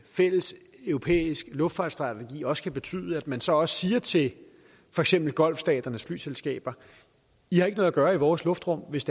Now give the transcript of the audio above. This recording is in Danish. fælles europæisk luftfartsstrategi også kan betyde at man så siger til for eksempel golfstaternes flyselskaber i har ikke noget at gøre i vores luftrum hvis